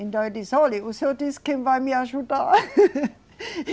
Então, eu disse, olhe, o senhor disse que vai me ajudar.